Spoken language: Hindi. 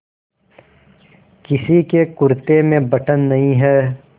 किसी के कुरते में बटन नहीं है